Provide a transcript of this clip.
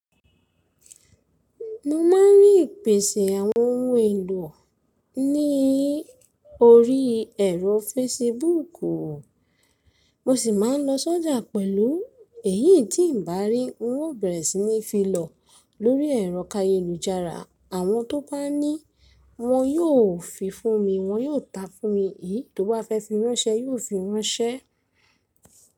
Mo ma n rí ìpèsè àwọn ohun èlò ní orí ẹ̀rọ Facebook o, mo sì má n lọ sójà pẹ̀lú èyí tí n bà rí n ó bẹ̀rẹ̀ sí ní fi lọ lórí ẹ̀rọ kayé lú jara. Àwọn tó bá ní wọn yóò fi fún mi, wọ́n yóò ta fún mi èyí tó bá fẹ́ fi ránṣẹ́ yóò fi ránṣẹ́.